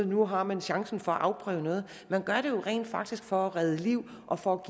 nu har man chancen for at afprøve noget man gør det jo rent faktisk for at redde liv og for